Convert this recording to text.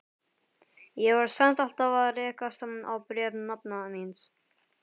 Ég var samt alltaf að rekast á bréf nafna míns.